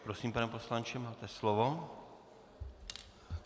Prosím, pane poslanče, máte slovo.